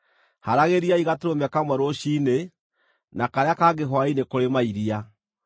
Haaragĩriai gatũrũme kamwe rũciinĩ, na karĩa kangĩ hwaĩ-inĩ kũrĩ mairia,